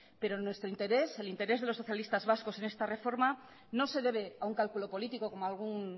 pero nuestro interés el interés de los socialistas vascos en esta reforma no se debe a un cálculo político como algún